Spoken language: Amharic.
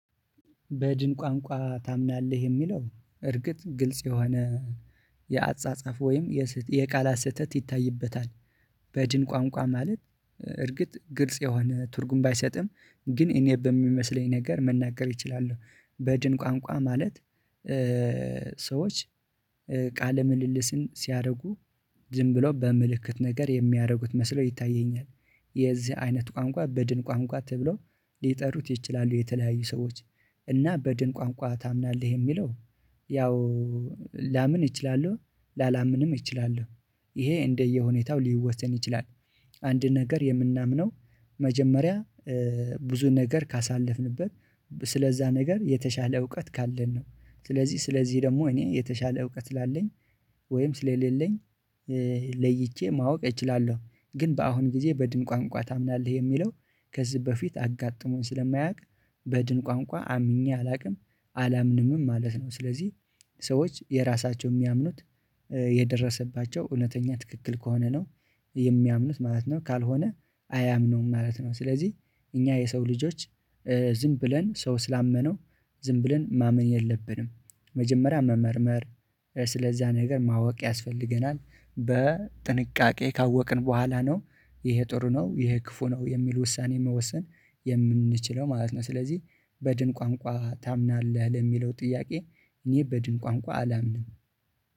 በድን ቋንቋ ታምናለህ የሚለው እርግጥ ግልጽ የሆነ የአጻጻፍ ወይም የቃላት ስህተት ይታይበታል። በድን ቋንቋ ማለት እርግጥ ግልጽ የሆነ ትርጉም ባይሰጥም ግን እኔ በሚመስለኝ ነገር መናገር እችላለሁ። በድን ቋንቋ ማለት ሰዎች ቃለ ምልልስን ሲያረጉ ዝም ብሎ በምልክት ነገር የሚያረጉት መስሎ ይታየኛል። የዚህ አይነት ቋንቋ በድን ቋንቋ ተብለው ሊጠሩት ይችላሉ። የተለያዩ ሰዎች እና በድን ቋንቋ ታምናለህ የሚለው ያው ላምን እችላለሁ ላላምንም እችላለሁ ይሄ እንደየሁኔታው ሊወሰን ይችላል። አንድ ነገር የምናምነው መጀመሪያ ብዙ ነገር ካሳለፍንበት ስለዛ ነገር የተሻለ እውቀት ካለን ነው። ስለዚህ ስለዚህ ደግሞ እኔ የተሻለ እውቀት ስላለኝ ወይም ስለሌለኝ ለይቼ ማወቅ እችላለሁ። ግን በአሁን ጊዜ በድን ቋንቋ ታምናለህ የሚለው ከዚህ በፊት አጋጥሞኝ ስለማያውቅ በድን ቋንቋ አምኜ አላውቅም አላምንምም ማለት ነው። ስለዚህ ሰዎች የራሳቸው ሚያምኑት የደረሰባቸው እውነተኛ ትክክል ከሆነ ነው የሚያምኑት ማለት ነው። ካልሆነ አያምነውም ማለት ነው። ስለዚህ እኛ የሰው ልጆች ዝም ብለን ሰው ስላመነው ዝም ብለን ማመን የለብንም መጀመሪያ መመርመር ስለዛ ነገር ማወቅ ያስፈልገናል በጥንቃቄ ካወቅን በኋላ ነው። ይሄ ጥሩ ነው ይሄ ክፉ ነው የሚል ውሳኔ መወሰን የምንችለው ማለት ነው። ስለዚህ በድን ቋንቋ ታምናለህ ለሚለው ጥያቄ? እኔ በድን ቋንቋ አላምንም